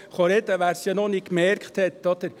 Wer es noch nicht gemerkt hat: